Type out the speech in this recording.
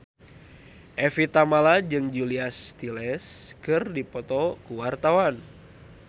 Evie Tamala jeung Julia Stiles keur dipoto ku wartawan